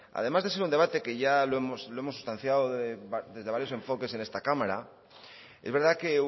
además de ser un debate que ya lo hemos sustanciado desde varios enfoques en esta cámara es verdad que